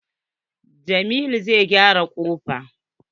Jamiu zai gyara kofar.